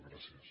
gràcies